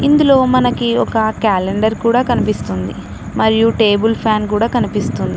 ఇందులో మనకి ఒక క్యాలెండర్ కూడా కనిపిస్తుంది మరియు టేబుల్ ఫ్యాన్ కూడా కనిపిస్తుం--